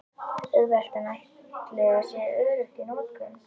Auðvelt en ætli þetta sé öruggt í notkun?